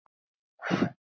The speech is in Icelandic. Ég veit hvað þú ert.